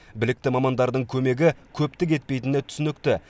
білікті мамандардың көмегі көптік етпейтіні түсінікті